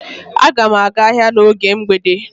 Aga m aga ahịa n’oge mgbede.